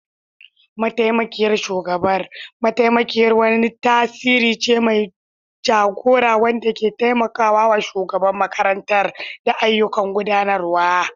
Mataimakiyar shugabar mataimakiyar wani tasiri ce mai jagora wanda ke taimaka wa shugaban makarantar da ayyukan gudanarwa.